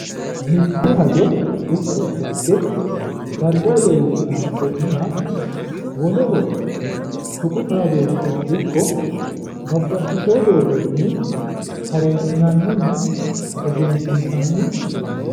Mitte hajjo ikko xagge dargaho leelline afi'nooniha woleho tuqu xaadooshira ikko babbaxitino doogonni tareessinanninna egensiinsanni doogooti.